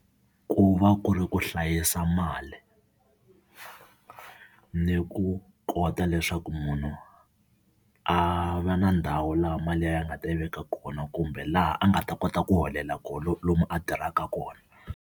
Ku va ku ri ku hlayisa mali ni ku kota leswaku munhu a va na ndhawu laha mali ya yena a nga ta yi veka kona kumbe laha a nga ta kota ku holela kona lomu a tirhaka kona.